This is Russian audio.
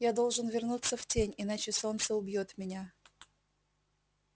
я должен вернуться в тень иначе солнце убьёт меня